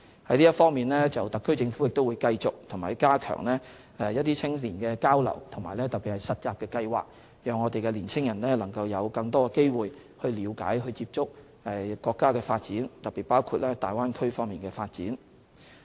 就這方面，特區政府會繼續加強青年交流，特別是實習計劃，讓青年人有更多機會了解、接觸國家發展，特別包括大灣區方面的發展。